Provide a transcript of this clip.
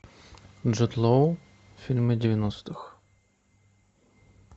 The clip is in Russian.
джуд лоу фильмы девяностых